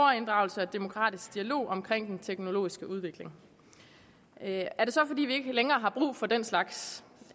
demokratisk dialog om den teknologiske udvikling er det så fordi vi ikke længere har brug for den slags